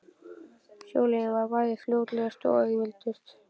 Sjóleiðin var bæði fljótlegust og auðveldust.